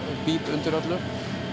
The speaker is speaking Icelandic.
undir öllu